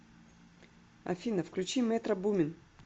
афина включи метро бумин